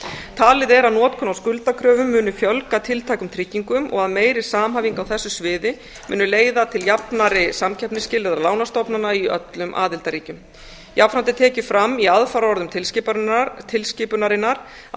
talið er að notkun á skuldakröfum muni fjölga tiltækum tryggingum og að meiri samhæfing á þessu sviði muni leiða til jafnari samkeppnisskilyrða lánastofnana í öllum aðildarríkjum jafnframt er tekið fram í aðfaraorðum tilskipunarinnar að